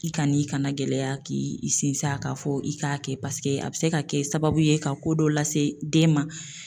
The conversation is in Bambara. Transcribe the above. I kan'i kana gɛlɛya k'i sinsin kan, ko fɔ i k'a kɛ paseke a bi se ka kɛ sababu ye ka ko dɔ lase den ma.